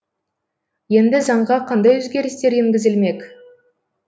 енді заңға қандай өзгерістер енгізілмек